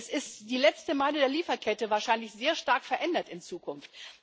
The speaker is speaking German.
Es ist die letzte Meile der Lieferkette, wahrscheinlich sehr stark verändert in Zukunft.